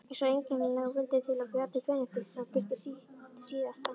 Svo einkennilega vildi til að Bjarni Benediktsson birti sitt síðasta